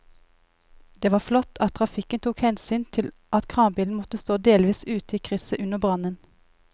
Det var flott at trafikken tok hensyn til at kranbilen måtte stå delvis ute i krysset under brannen.